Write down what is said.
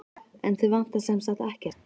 En þig vantar sem sagt ekkert?